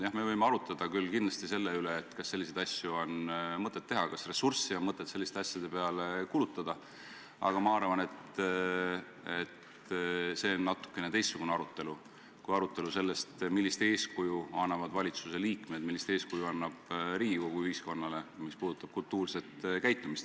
Jah, me võime kindlasti arutada selle üle, kas selliseid asju on mõtet teha, kas ressurssi on mõtet selliste asjade peale kulutada, aga ma arvan, et see oleks natukene teistsugune arutelu kui arutelu selle üle, millist eeskuju annavad valitsusliikmed, millist eeskuju annab Riigikogu ühiskonnale, kui asi puudutab kultuurset käitumist.